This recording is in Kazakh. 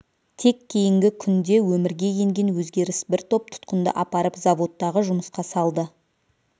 тек кейінгі күнде өмірге енген өзгеріс бір топ тұтқынды апарып заводтағы жұмысқа салды